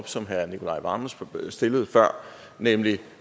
som herre nicolai wammen stillede før med med